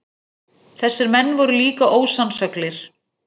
Þessir menn voru líka ósannsöglir.